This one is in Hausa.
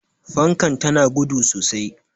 fankar tana da gudu sosai